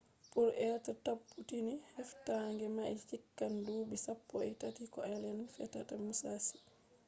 to be tabbutini heftange mai chikan dubi sappoi tati ko allen tefata musashi